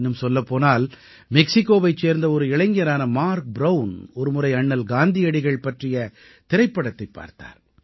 இன்னும் சொல்லப் போனால் மெக்சிகோவைச் சேர்ந்த ஒரு இளைஞரான மார்க் ப்ரவுன் ஒருமுறை அண்ணல் காந்தியடிகள் பற்றிய திரைப்படத்தைப் பார்த்தார்